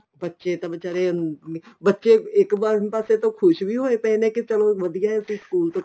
ਬੱਚੇ ਤਾਂ ਬੀਚਾਰੇ ਅਹ ਬੱਚੇ ਇੱਕ ਵਾਰ ਪਾਸੇ ਤੋਂ ਖੁਸ਼ ਵੀ ਹੋਏ ਪਏ ਨੇ ਕੀ ਚਲੋ ਵਧੀਆ ਤੇ school ਦੇਖੋ